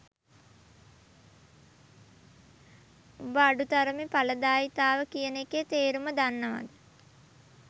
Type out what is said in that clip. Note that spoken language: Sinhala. උඹ අඩු තරමේ ඵලදායීතාවය කියන එකේ තේරුම දන්නවද?